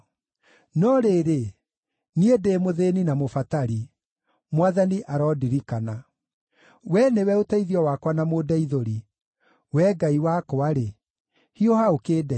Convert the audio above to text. No rĩrĩ, niĩ ndĩ mũthĩĩni na mũbatari; Mwathani arondirikana. Wee nĩwe ũteithio wakwa na mũndeithũri; Wee Ngai wakwa-rĩ, hiuha ũkĩndeithie.